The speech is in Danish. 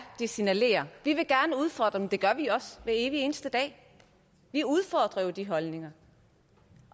de signalerer vi vil gerne udfordre og det gør vi også hver evig eneste dag vi udfordrer jo de holdninger